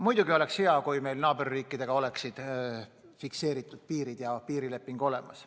Muidugi oleks hea, kui meil naaberriikidega oleksid fikseeritud piirid ja piirileping olemas.